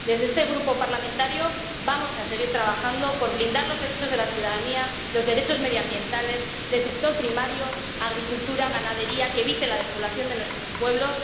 Desde este grupo parlamentario vamos a seguir trabajando por blindar los derechos de la ciudadanía, los derechos medioambientales y los del sector primario —agricultura, ganadería— para evitar la despoblación de nuestros pueblos.